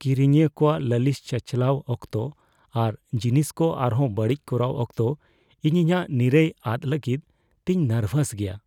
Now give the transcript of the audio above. ᱠᱤᱨᱤᱧᱤᱭᱟᱹ ᱠᱚᱣᱟᱜ ᱞᱟᱹᱞᱤᱥ ᱪᱟᱪᱟᱞᱟᱣ ᱚᱠᱛᱚ ᱟᱨ ᱡᱤᱱᱤᱥ ᱠᱚ ᱟᱨᱦᱚᱸ ᱵᱟᱹᱲᱤᱡ ᱠᱚᱨᱟᱣ ᱚᱠᱛᱚ ᱤᱧ ᱤᱧᱟᱹᱜ ᱱᱤᱨᱟᱹᱭ ᱟᱫ ᱞᱟᱜᱤᱫ ᱛᱤᱧ ᱱᱟᱨᱵᱷᱟᱥ ᱜᱮᱭᱟ ᱾